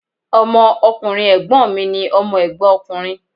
Ọmọ ọkùnrin Ègbón mi ni Ọmọ Ègbón ọkùnrin